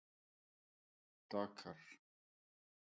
Dakar